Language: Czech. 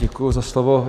Děkuju za slovo.